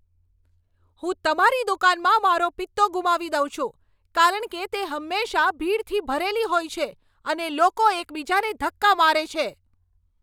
હું તમારી દુકાનમાં મારો પિત્તો ગુમાવી દઉં છું, કારણ કે તે હંમેશાં ભીડથી ભરેલી હોય છે અને લોકો એકબીજાને ધક્કા મારે છે.